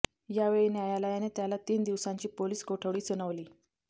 यावेळी न्यायालयाने त्याला तीन दिवसांची पोलीस कोठडी सुनावली